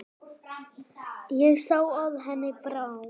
Ég sá að henni brá.